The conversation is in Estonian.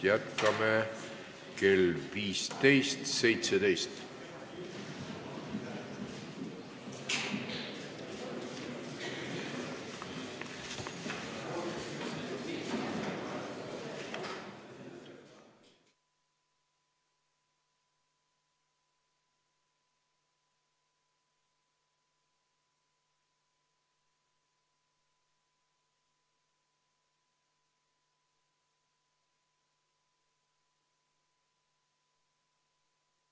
Jätkame kell 15.17.